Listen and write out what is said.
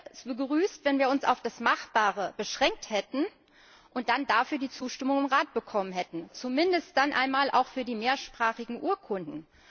Ich hätte es begrüßt, wenn wir uns auf das Machbare beschränkt hätten und dann dafür die Zustimmung im Rat bekommen hätten, zumindest dann einmal auch für die mehrsprachigen Urkunden.